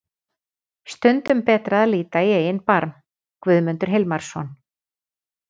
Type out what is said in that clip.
Stundum betra að líta í eigin barm. Guðmundur Hilmarsson.